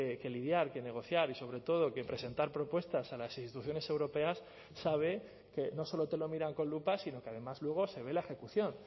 que lidiar que negociar y sobre todo que presentar propuestas a las instituciones europeas sabe que no solo te lo miran con lupa sino que además luego se ve la ejecución